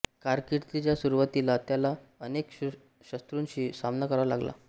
कारकिर्दीच्या सुरूवातीला त्याला अनेक शत्रूंशी सामना करावा लागला